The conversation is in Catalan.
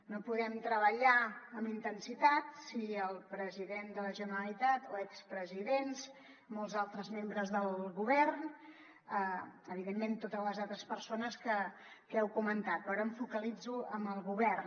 no podem treballar amb intensitat si el president de la generalitat o expresidents i molts altres membres del govern i evidentment totes les altres persones que heu comentat però ara em focalitzo en el govern